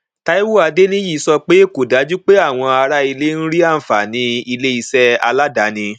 taiwo adeniyi sọ pé kò dájú pé àwọn ará ilé ń rí àǹfààní iléiṣẹ aládani